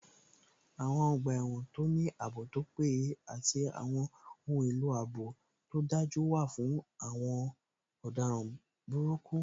Àwọn ọgbà ẹ̀wọ̀n tó ní ààbò tó péye àti àwọn ohun èlò ààbò tó dájú wà fún àwọn ọ̀daràn burúkú